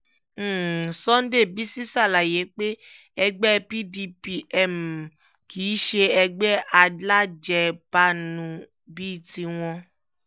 um sunday bisi ṣàlàyé pé ẹgbẹ́ pdp um kì í ṣe ẹgbẹ́ alájẹbanú bíi tiwọn